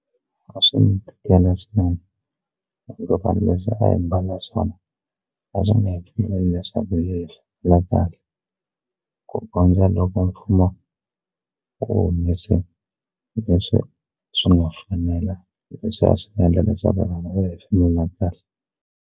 A swi ni tikela swinene van'wani leswi a hi mbala swona a swi nge hi pfumeleli leswaku kahle ku kondza loko mfumo wu humese leswi swi nga fanela leswi a swi endla leswaku vanhu va hefemula kahle.